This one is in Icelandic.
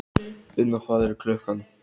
Unna, hvað er klukkan?